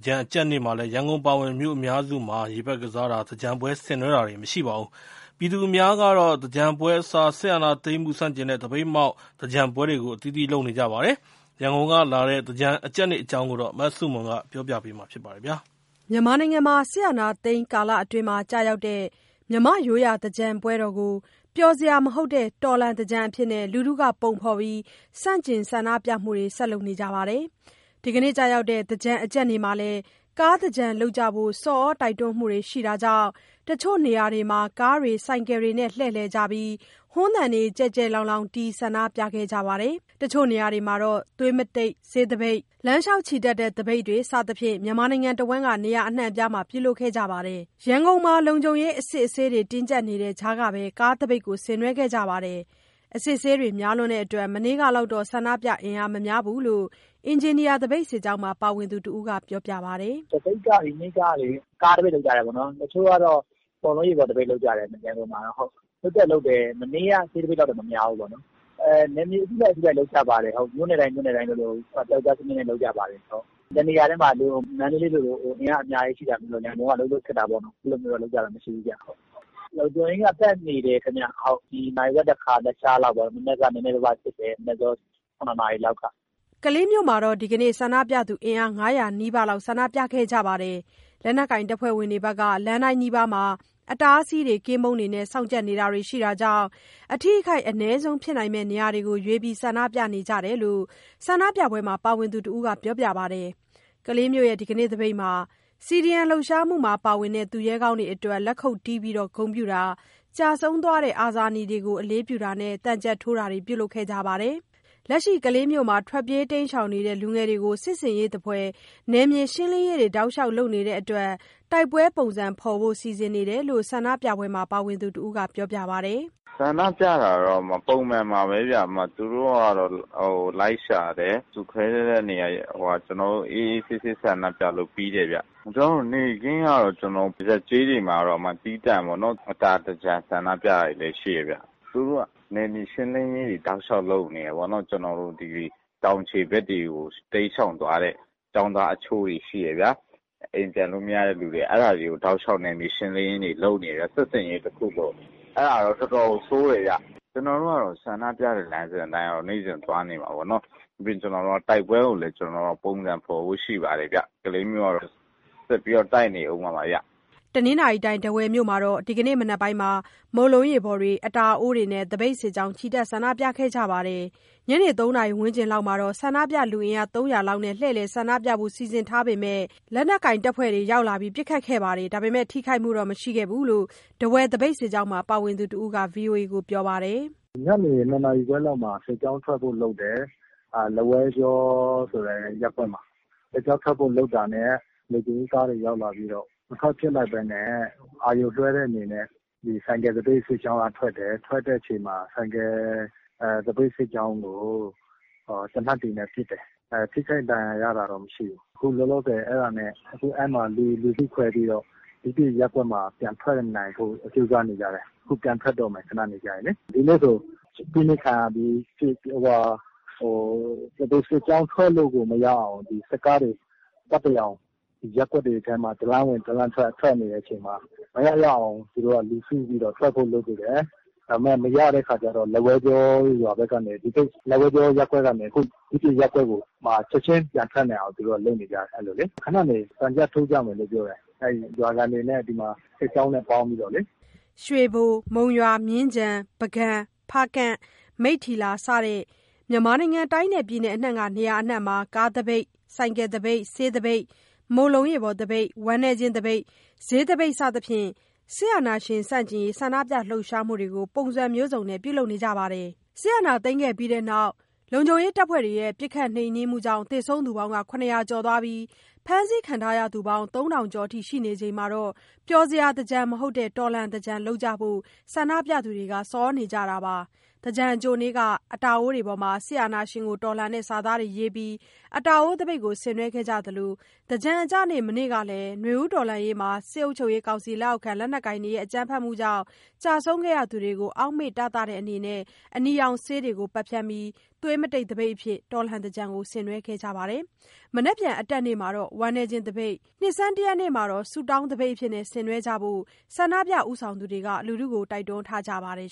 ကြန်အကြတ်နေ့မှာလည်း ရန်ကုန်အပါအဝင် မြို့အများစုမှာ ရေပက်ကစားတာ၊ သင်္ကြန်ပွဲဆင်နွဲတာတွေ မရှိပါဘူး။ ပြည်သူအများကတော့ သင်္ကြန်ပွဲအစား စစ်အာဏာသိမ်းမှု ဆန့်ကျင်တဲ့ သပိတ်မှောက် သင်္ကြန်ပွဲတွေကို အသီးသီးလုပ်နေကြပါတယ်။ ရန်ကုန်က လာတဲ့ သင်္ကြန်အကြတ်နေ့အကြောင်း မဆုမွန်က ပြောပြထားပါတယ်။ စစ်အာဏာသိမ်း ကာလအတွင်းမှာ ကျရောက်တဲ့ မြန်မာ့ရိုးရာသင်္ကြန်ကို ပျော်စရာမဟုတ်တဲ့ တော်လှန်သင်္ကြန်အဖြစ် လူထုက ပုံဖော်ပြီး ဆန့်ကျင် ဆန္ဒပြမှုတွေကို ဆက်လုပ်နေကြပါတယ်။ ဒီနေ့ အကြတ်နေ့မှာ ကားသင်္ကြန်လုပ်ကြဖို့ ဆော်သြတိုက်တွန်းမှုတွေရှိတာကြောင့် တချို့နေရာတွေမှာကားတွေဆိုင်ကယ်တွေနဲ့ လှည့်လည်ကြပြီး ဟွန်းသံတွေ ကျယ်ကျယ်လောင်လောင်တီး ဆန္ဒပြကြသလို တချို့နေရာတွေမှာ သွေးသပိတ်၊ လမ်းလျှောက်ချီတက်တဲ့သပိတ်တွေ စသဖြင့် မြန်မာနိုင်ငံတစ်ဝန်းက နေရာအနှံအပြားမှာ ပြုလုပ်ခဲ့ကြပါတယ်။ ရန်ကုန်မှာ လုံခြုံရေး၊ အစစ်အဆေး တင်းကြပ်နေတဲ့ ကြားကပဲ ကားသပိတ်ဆင်နွှဲခဲ့ကြပါတယ်။ အစစ်အဆေးတွေများနေတဲ့အတွက် မနေ့ကလောက်တော့ ဆန္ဒပြ အင်အားမများဘူးလို့ အင်ဂျင်နီယာသပိတ်စစ်ကြောင်းမှာ ပါဝင်သူတစ်ဦးက ပြောပါတယ်။ “သပိတ်က ဒီနေ့ကလေ ကားသပိတ်လုပ်ကြတယ်ပေါ့နှော်။ တချို့ကလည်း မုန့်လုံးရေပေါ်သပိတ်လုပ်ကြတယ် ရန်ကုန်မှာတော့။ လုပ်တော့လုပ်တယ်၊ မနေ့က ဆေးသပိတ်လောက်တော့ မများဘူးပေါ့လေ။ နယ်မြေအလိုက် မြို့နယ်တိုင်း မြို့နယ်တိုင်း ပြောက်ကျားစနစ်နဲ့ လုပ်ကြပါတယ်။ တစ်နေရာတည်းမှာ အင်အားအများကြီးနဲ့ မန္တလေးလို ဒီမှာတော့ အဲ့လိုလုပ်ကြတာမရှိဘူးဗျ။ လုံခြုံရေးတွေက ပတ်နေတယ်ဗျ၊ နာရီဝက်တစ်ခါပေါ့။ ရသလောက်စစ်နေတယ်၊ နံနက် ၇ နာရီလောက်ကတည်းကပေါ့။” ကလေးမြို့မှာတော့ ဒီကနေ့ အင်အား ၅၀၀ နီးပါးဆန္ဒပြခဲ့ကြပါတယ်။ လက်နက်ကိုင်တပ်ဖွဲ့တွေက လမ်းတိုင်းနီးပါးမှာ အတားအဆီးတွေ၊ ကင်းပုန်းတွေနဲ့ စောင့်ကြပ်နေတာတွေရှိတာကြောင့် အထိအခိုက် အနည်းဆုံးဖြစ်နိုင်မယ့် နေရာတွေမှာရွေးပြီး ဆန္ဒပြကြရတာဖြစ်တယ်လို့ ဆန္ဒပြပွဲမှာ ပါဝင်သူတစ်ဦးက ပြောပါတယ်။ ကလေးမြို့ ဒီကနေ့သပိတ်မှာ CDM လှုပ်ရှားမှုမှာပါဝင်တဲ့ သူရဲကောင်းတွေအတွက် လက်ခုတ်တီးပြီး ဂုဏ်ပြုတာ၊ ကျဆုံးသွားတဲ့ အာဇာနည်တွေကို အလေးပြုတာနဲ့ သံချပ်ထိုးတာတွေ ပြုလုပ်ခဲ့ကြပါတယ်။ လက်ရှိ ကလေးမြို့မှာ ထွက်ပြေးတိမ်းရှောင်နေတဲ့ လူငယ်တွေကို စစ်ဆင်ရေးသဖွယ် နယ်မြေရှင်းလင်းရေးတွေ တောက်လျှောက်လုပ်နေတဲ့အတွက် တိုက်ပွဲပုံစံဖော်ဖို့ စီစဉ်နေတယ်လို့ ဆန္ဒပြပွဲမှာ ပါဝင်သူတစ်ဦးက ပြောပါတယ်။ “ဆန္ဒပြတာကတော့ ပုံမှန်ပါပဲ၊ သူတို့ကတော့ လိုက်ရှာတယ်။ ကျနော်တို့ လူစုခွဲတဲ့နေရာထိကတော့ အေးအေးဆေးဆေးဆန္ဒပြလို့ ပြီးတယ်ဗျ။ ကျနော်တို့ နယ်ကတော့ ပုံမှန်ပဲပေါ့၊ ရပ်ကျေးတွေမှာတော့ သီးသန့်ပေါ့နော်၊ အတာသင်္ကြန် ဆန္ဒပြတာတွေလည်းရှိတယ်ဗျ။ သူတို့က နယ်မြေရှင်းလင်းရေးတွေတောက်လျှောက်လုပ်နေတယ်ပေါ့နော်၊ ကျနော်တို့သိသရွေ့ အခုတောင်ခြေဖက်တွေကို တိမ်းရှောင်သွားတဲ့ ကျောင်းသားအချို့ရှိတယ်ဗျ၊ာ အိမ်ပြန်လို့မရတဲ့သူတွေ။ အဲ့တာတွေကို တောက်လျှောက် နယ်မြေရှင်းလင်းရေးတွေလုပ်နေတယ်။ စစ်ဆင်ရေးတစ်ခုလို၊ အဲ့တာတော့ တော်တော်ကို ဆိုးတယ်ဗျ။ ကျနော်တို့ကတော့ ဆန္ဒပြတဲ့ လမ်းစဉ်အတိုင်းကတော့ သွားနေမှာပေါ့နှော်။ ပြီးတော့ ကျနော်တို့က တိုက်ပွဲကိုလည်း ပုံစံဖော်ဖို့ရှိပါတယ်ဗျ။ ကလေးမြို့ကတော့ ဆက်ပြီးတော့ တိုက်နေအုံးမှာပါဗျ။” တနင်္သာရီတိုင်၊း ထားဝယ်မြို့မှာလည်း ဒီကနေ့ မနက်ပိုင်းက မုန့်လုံးရေပေါ်တွေ၊ အတာအိုးတွေနဲ့ သပိတ်စစ်ကြောင်း ချီတက် ဆန္ဒပြခဲ့ကြပါတယ်။ ညနေ ၃ နာရီဝန်းကျင်လောက်မှာ ဆန္ဒပြလူအင်အား ၃၀၀ လောက်နဲ့ လှည့်လည်ဆန္ဒပြဖို့ စီစဉ်ထားပေမယ့် လက်နက်ကိုင်တပ်ဖွဲ့တွေရောက်လာပြီး ပစ်ခတ်ခဲ့တာမှာ ထိခိုက်မှုတော့ မရှိခဲ့ဘူးလို့ ထားဝယ်သပိတ်စစ်ကြောင်းမှာ ပါဝင်သူတစ်ဦးက VOA ကို ခုလိုပြောပါတယ်။ “ညနေ ၂ နာရီခွဲလောက်မှာ စစ်ကြောင်းထွက်ဖို့လုပ်တယ်။ လက်ဝဲကြောဆိုတဲ့ ရပ်ကွက်မှာ စစ်ကြောင်းထွက်ဖို့လုပ်တာနဲ့ လုံခြုံရေးတပ်တွေရောက်လာပြီး မထွက်ဖြစ်လိုက်ဘူးပေါ့။ မထွက်ဖြစ်လိုက်ဘဲနဲ့ အာရုံလွှဲတဲ့အနေနဲ့ ဆိုင်ကယ်သပိတ်စစ်ကြောင်းက ထွက်တယ်၊ ထွက်တဲ့ခါမှာ ဆိုင်ကယ် သပိတ်စစ်ကြောင်းကို သေနတ်တွေနဲ့ ပစ်တယ်။ ထိခိုက်ဒဏ်ရာ ရတာတော့ မရှိဘူး။ အခုလောလောဆယ် အဲ့မှာ လူစုခွဲပြီးတော့ တခြားရပ်ကွက်မှာ ပြန်ထွက်နိုင်ဖို့ ကြိုးစားနေကြတယ်။ ဒီနေ့ဆို သပိတ်စစ်ကြောင်းထွက်လို့ကို မရအောင် စစ်ကားတွေ ရပ်ကွက်တွေထဲမှာ တစ်လမ်းဝင်တစ်လမ်းထွက် ပတ်တရောင် လှည့်နေတဲ့အချိန်မှာ မရရအောင် လူစုပြီး ထွက်ဖို့လုပ်ကြတယ်၊ ဒါပေမယ့် မရတဲ့ခါကျတော့ လက်ဝဲကြောရပ်ကွက်ကနေ တခြားရပ်ကွက်ကိုပြောင်းပြီး ချက်ချင်း ပြန်ထွက်နိုင်ဖို့လုပ်နေကြတယ်။ ခဏနေရင် ရွာခံတွေနဲ့ စစ်ကြောင်းနဲ့ ပေါင်းပြီးတော့ သံချပ်ထိုးကြမယ်။” ရွေဘို၊ မုံရွာ၊ မြင်းခြံ၊ ပုဂံ၊ ဖားကန့်၊ မိတ္ထီလာ စတဲ့ မြန်မာနိုင်ငံ တိုင်းနဲ့ပြည်နယ်အနှံ့က နေရာအစုံမှာ ကားသပိတ်၊ ဆိုင်ကယ်သပိတ်၊ ဆေးသပိတ်၊ မုန့်လုံးရေပေါ်သပိတ်၊ ဝမ်းနည်းခြင်းသပိတ်၊ ဈေးသပိတ် စသဖြင့် စစ်အာဏာရှင်ဆန့်ကျင်ရေး ဆန္ဒပြလှုပ်ရှားမှုတွေကို ပုံစံမျိုးစုံနဲ့ ပြုလုပ်ခဲ့ကြပါတယ်။ စစ်အာဏာသိမ်းခဲ့ပြီးနောက် ပစ်ခတ်နှိမ်နင်းမှုကြောင့် သေဆုံးသူ ၇၀၀ ကျော်၊ ဖမ်းဆီးခံရသူ ၃,၀၀၀ ကျော် ရှိနေချိန်မှာ ပျော်စရာသင်္ကြန် မဟုတ်တဲ့ တော်လှန်သင်္ကြန်လုပ်ကြဖို့ ဆန္ဒပြသူတွေက ဆော်သြနေကြတာပါ။ သင်္ကြန်အကြိုနေ့က အတာအိုးတွေပေါ်မှာ စစ်အာဏာရှင်ကိုတော်လှန်တဲ့ စာသားတွေရေးပြီး အတာအိုးသပိတ်ကို ဆင်နွှဲခဲ့ကြသလို သင်္ကြန်အကျနေ့ မနေ့ကလည်း နွေဦးတော်လှန်ရေးမှာ စစ်ကောင်စီလက်အောက်ခံ လက်နက်ကိုင်တွေရဲ့ အကြမ်းဖက်မှုကြောင့် ကျဆုံးခဲ့ကြသူတွေကို အောင့်မေ့တသတဲ့အနေနဲ့ အနီရောင်ဆေးတွေကို ပက်ဖြန်းပြီး သွေးမတိတ်သပိတ်အဖြစ် တော်လှန်သင်္ကြန်ကို ဆင်နွှဲခဲ့ကြပါတယ်။ မနက်ဖြန် အတက်နေ့မှာတော့ ဝမ်းနည်းခြင်းသပိတ်၊ နှစ်ဆန်းတစ်ရက်နေ့မှာတော့ ဆုတောင်းသပိတ်အဖြစ် ဆင်နွှဲကြဖို့ ဆန္ဒပြပွဲ ဦးဆောင်သူတွေက တိုက်တွန်းထားကြပါတယ်